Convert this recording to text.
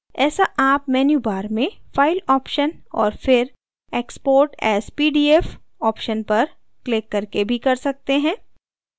ऐसा आप menu bar में file option और फिर export as pdf option पर क्लिक करके भी कर सकते हैं